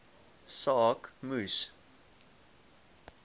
saak moes